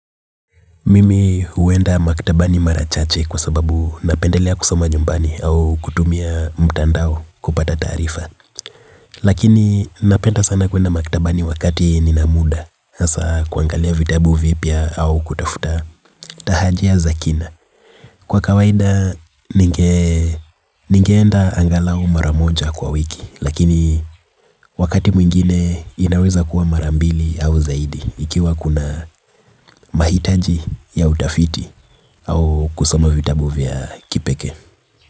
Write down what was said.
Mimi huenda maktabani mara chache kwa sababu napendelea kusoma nyumbani au kutumia mtandao kupata taarifa. Lakini napenda sana kuenda maktabani wakati nina muda. Hasa kuangalia vitabu vipya au kutafuta tahajia zakina. Kwa kawaida ningeenda angalau mara moja kwa wiki. Lakini wakati mwingine inaweza kuwa marambili au zaidi ikiwa kuna mahitaji ya utafiti. Au kusoma vitabu vya kipeke.